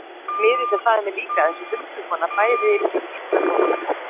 Miðillinn sagði mér líka að þessi huldukona bæði mig einnar bónar.